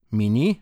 Mi ni?